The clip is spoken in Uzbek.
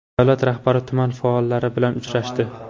Davlat rahbari tuman faollari bilan uchrashdi .